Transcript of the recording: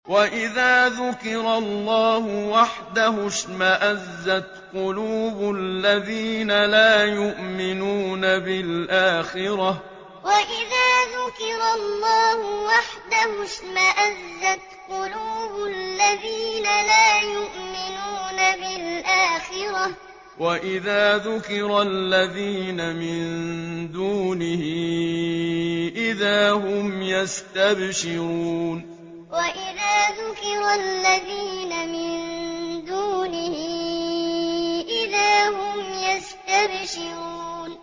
وَإِذَا ذُكِرَ اللَّهُ وَحْدَهُ اشْمَأَزَّتْ قُلُوبُ الَّذِينَ لَا يُؤْمِنُونَ بِالْآخِرَةِ ۖ وَإِذَا ذُكِرَ الَّذِينَ مِن دُونِهِ إِذَا هُمْ يَسْتَبْشِرُونَ وَإِذَا ذُكِرَ اللَّهُ وَحْدَهُ اشْمَأَزَّتْ قُلُوبُ الَّذِينَ لَا يُؤْمِنُونَ بِالْآخِرَةِ ۖ وَإِذَا ذُكِرَ الَّذِينَ مِن دُونِهِ إِذَا هُمْ يَسْتَبْشِرُونَ